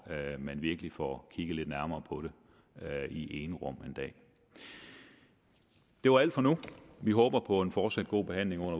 man virkelig får kigget lidt nærmere på det i enrum en dag det var alt for nu vi håber på en fortsat god behandling